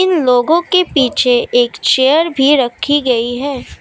लोगों के पीछे एक चेयर भी रखी गई है।